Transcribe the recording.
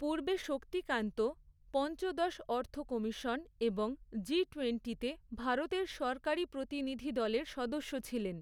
পূর্বে শক্তিকান্ত, পঞ্চদশ অর্থ কমিশন এবং জি টোয়েন্টিতে ভারতের সরকারি প্রতিনিধিদলের সদস্য ছিলেন।